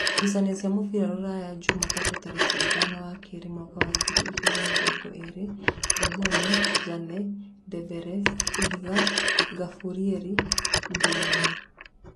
Ngucanio cia mũbira Rūraya Jumatano tarĩki ithano wa keerĩ mwaka wa ngiri igĩrĩ na mĩrongo ĩrĩ: Ngamboni, Njane, Ndembere, Ihiga, Ngamburieri, Ngereni,